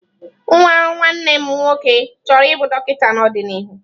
Nwa nwanne m nwoke chọrọ ịbụ dọkịta n'ọdịnihu.